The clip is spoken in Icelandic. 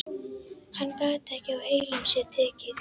Hann gat ekki á heilum sér tekið.